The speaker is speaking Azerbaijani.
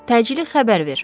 Təcili xəbər ver.